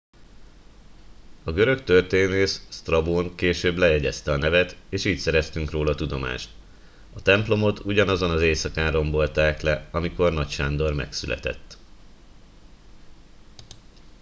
a görög történész sztrabón később lejegyezte a nevet és így szereztünk róla tudomást a templomot ugyanazon az éjszakán rombolták le amikor nagy sándor megszületett